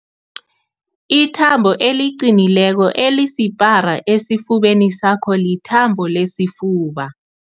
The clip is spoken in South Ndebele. Ithambo eliqinileko elisipara esifubeni sakho lithambo lesifuba.